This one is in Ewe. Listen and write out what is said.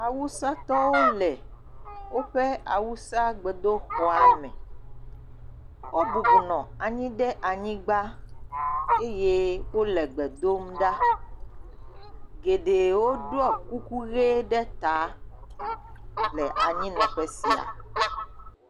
Awusatɔwo le awusatɔwo ƒe gbedoxɔ me. Wo bubɔnɔ anyi ɖe anyigba eye wonɔ gbe dom ɖa. Geɖewo ɖɔe kuku ɣi ɖe ya le anyi nɔƒe sia.